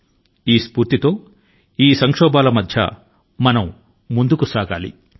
అదే మనోబలం తో నేటి కష్ట కాలాల లో సైతం మనం ముందుకు సాగాలి